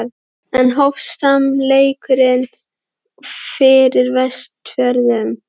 Enn hófst sami leikurinn og fyrir Vestfjörðum.